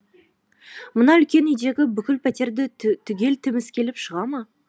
мына үлкен үйдегі бүкіл пәтерді түгел тіміскілеп шыға ма